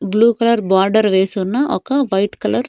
blue colour border వేస్తున్న ఒక white colour --